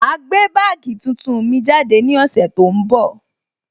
Ma gbé bagii tuntun mi jáde ní ọ̀sẹ̀ tó ń bọ̀